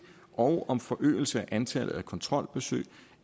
og om forøgelse af antallet af kontrolbesøg